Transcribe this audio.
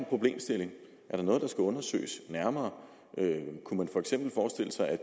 problemstilling er der noget der skal undersøges nærmere kunne man for eksempel forestille sig at